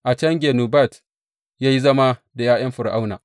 A can, Genubat ya yi zama da ’ya’yan Fir’auna.